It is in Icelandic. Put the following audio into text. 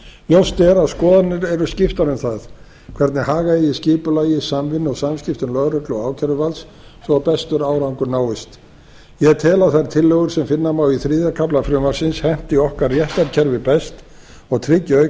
ljóst er að skoðanir eru skiptar um það hvernig haga eigi skipulagi samvinnu og samskiptum lögreglu og ákæruvalds til að sem bestur árangur náist ég tel að þær tillögur sem finna má í þriðja kafla frumvarpsins henti okkar réttarkerfi best og tryggi auk